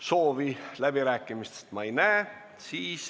Seda soovi ma ei näe.